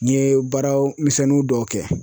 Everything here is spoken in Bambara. N ye baara misɛnnin dɔw kɛ.